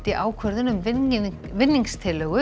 ákvörðun um